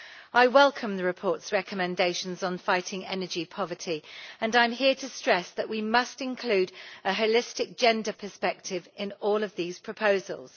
I welcome the report's recommendations on fighting energy poverty and I am here to stress that we must include a holistic gender perspective in all of these proposals.